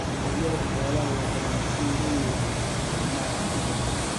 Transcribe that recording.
Dalagyada xooluhu waxay muhiim u yihiin xubnaha bulshada.